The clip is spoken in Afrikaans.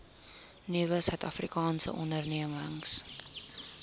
nuwe suidafrikaanse ondernemings